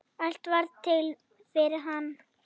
Allt varð til fyrir hann.